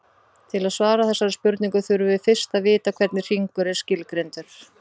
Til að svara þessari spurningu þurfum við fyrst að vita hvernig hringur er skilgreindur.